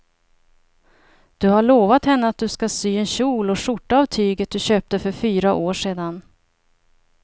Du har lovat henne att du ska sy en kjol och skjorta av tyget du köpte för fyra år sedan.